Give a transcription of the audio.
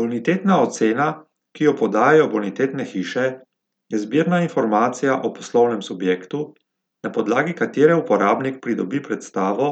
Bonitetna ocena, ki jo podajajo bonitetne hiše, je zbirna informacija o poslovnem subjektu, na podlagi katere uporabnik pridobi predstavo